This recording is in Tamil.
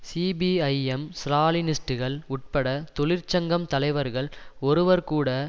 சிபிஐ எம் ஸ்ராலினிஸ்டுகள் உட்பட தொழிற்சங்கம் தலைவர்கள் ஒருவர் கூட